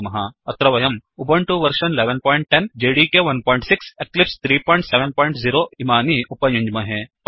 अत्र वयम् Ubuntu version 1110उबण्टु १११० जेडीके 16 जेडिके १६ एक्लिप्स 370 एक्लिप्स् ३७० इमानि उपयुञ्ज्महे